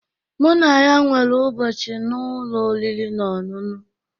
Mụ na ya nwere ụbọchị na ụlọ oriri na ọṅụṅụ